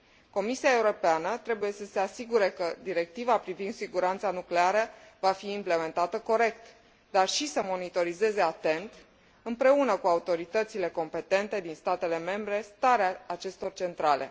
Comisia Europeană trebuie să se asigure că Directiva privind siguranța nucleară va fi implementată corect, dar și să monitorizeze atent, împreună cu autoritățile competente din statele membre, starea acestor centrale.